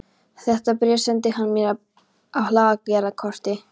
Þetta bréf sendi hann mér frá Hlaðgerðarkoti.